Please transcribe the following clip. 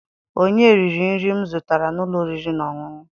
Onye riri nri m zụtara n'ụlọ oriri na ọṅụṅụ?